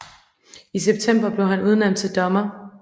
I september blev han udnævnt til dommer